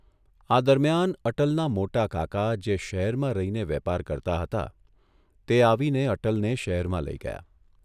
આ દરમિયાન અટલના મોટા કાકા જે શહેરમાં રહીને વેપાર કરતા હતા તે આવીને અટલને શહેરમાં લઇ ગયા.